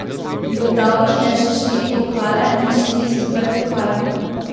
Dodal jim je še štiri pokale in štiri superpokale.